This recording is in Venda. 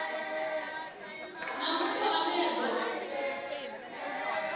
na muthu ane a do